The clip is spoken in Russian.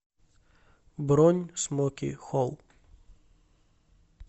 бронь смоки холл